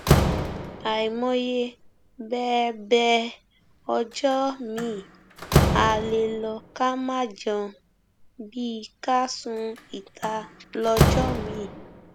àìmọye bẹẹ bẹẹ ọjọ miín á lè lọ ká má jẹun bíi ká sun ìta lọjọ miín